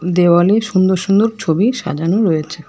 দেওয়ালে সুন্দর সুন্দর ছবি সাজানো রয়েছে।